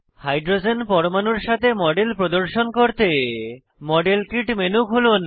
hydrogen পরমাণুর সাথে model প্রদর্শন করতে মডেল কিট মেনু খুলুন